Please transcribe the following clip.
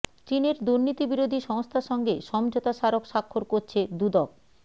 চীনের দুর্নীতিবিরোধী সংস্থার সঙ্গে সমঝোতা স্মারক স্বাক্ষর করছে দুদক